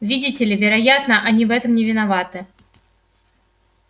видите ли вероятно они в этом не виноваты